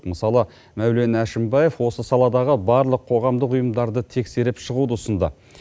мысалы мәулен әшімбаев осы саладағы барлық қоғамдық ұйымдарды тексеріп шығуды ұсынды